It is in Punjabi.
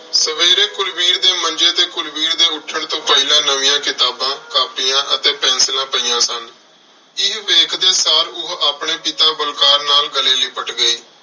ਸਵੇਰੇ ਕੁਲਵੀਰ ਦੇ ਮੰਜ਼ੇ ਤੇ ਕੁਲਵੀਰ ਦੇ ਉੱਠਣ ਤੋਂ ਪਹਿਲਾਂ ਨਵੀਆਂ ਕਿਤਾਬਾਂ, ਕਾਪੀਆਂ ਅਤੇ ਪੈਨਸਿਲਾਂ ਪਈਆਂ ਸਨ। ਇਹ ਵੇਖਦੇ ਸਾਰ ਉਹ ਆਪਣੇ ਪਿਤਾ ਬਲਕਾਰ ਨਾਲ ਗਲੇ ਲਿਪਟ ਗਈ।